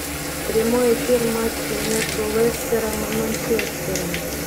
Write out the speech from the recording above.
прямой эфир матча между лестером и манчестером